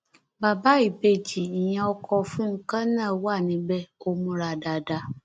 bàbá ìbejì ìyẹn ọkọ fúnkẹ náà wà níbẹ ò múra dáadáa